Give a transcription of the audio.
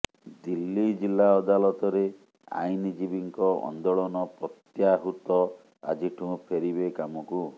ଦିଲ୍ଲୀ ଜିଲ୍ଲା ଅଦାଲତରେ ଆଇନଜୀବୀଙ୍କ ଆନ୍ଦୋଳନ ପ୍ରତ୍ୟାହୃତ ଆଜିଠୁ ଫେରିବେ କାମକୁ